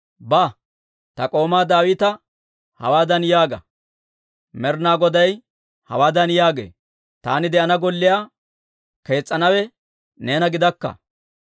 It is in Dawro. «Ba; ta k'oomaa Daawita hawaadan yaaga; ‹Med'inaa Goday hawaadan yaagee; Taani de'ana golliyaa kees's'anawe neena gidakka.